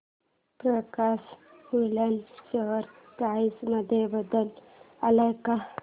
प्रकाश woollen share price मध्ये बदल आलाय का